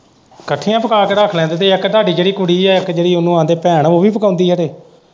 ਇੱਕਠੀਆਂ ਪਕਾ ਕੇ ਰੱਖ ਲੈਂਦੇ ਤੇ ਇੱਕ ਤੁਹਾਂਡੀ ਜਿਹੜੀ ਕੁੜੀ ਏ ਉਹਨੂੰ ਆਖਦੇ ਭੈਣ ਉਹ ਵੀ ਪਕਾਉਂਦੀ ਖਰੇ।